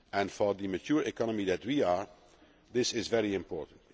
For the mature economy that we have, this is very important.